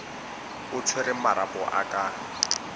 o tshwereng marapo a ka